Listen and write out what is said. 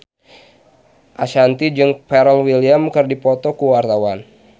Ashanti jeung Pharrell Williams keur dipoto ku wartawan